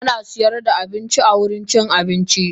Ana sayar da abinci awurin cin abinci.